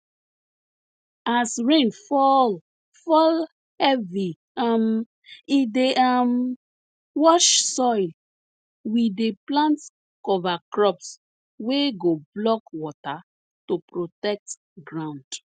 as rain fall fall heavy um e dey um wash soil we dey plant cover crops wey go block water to protect ground